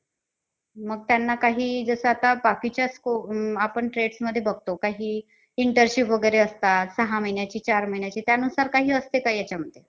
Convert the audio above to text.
अं मंडली कशी खेळू शकते. किंवा शिव ठाकरे, निमरीत आणि MC स्टॅनचा काय role असलं, किंवा त्यांचा काय point of view असलं. हे पण बघायचं असलं. आणि तुम्ही हे ऐकलं का? आता मागे एक अं